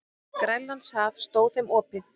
Grænlandshaf stóð þeim opið.